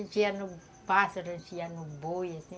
A gente ia no pássaro, a gente ia no boi, assim.